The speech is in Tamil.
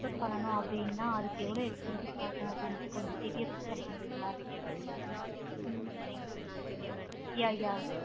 export பண்ணனும் அப்படின்னா அதுக்கு எவ்வளோ expensive ஆகும் அப்படிண்டு details சொல்ல முடியுங்களா? Hmm um yeah yeah